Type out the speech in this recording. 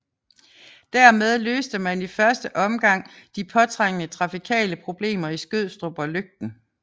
Der med løste man i første omgang de påtrængende trafikale problemer i Skødstrup og Løgten